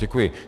Děkuji.